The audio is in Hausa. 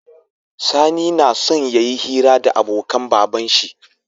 Sani nason yayi hira da abokan baban shi